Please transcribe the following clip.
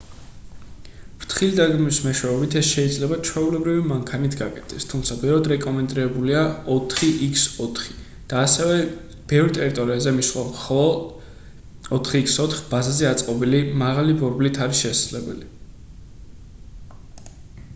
ფრთხილი დაგეგმვის მეშვეობით ეს შეიძლება ჩვეულებრივი მანქანით გაკეთდეს თუმცა ბევრად რეკომენდებულია 4x4 და ასევე ბევრ ტერიტორიაზე მისვლა მხოლო 4x4 ბაზაზე აწყობილი მაღალი ბორბლით არის შესაძლებელი